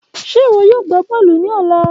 Ṣe iwọ yoo gba bọọlu ni ọla?